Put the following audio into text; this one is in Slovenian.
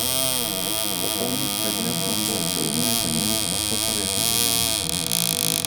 Popolni pregled nam bo vzel le nekaj minut, lahko pa reši življenje.